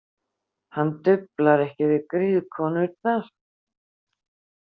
Hann duflar ekki við griðkonurnar.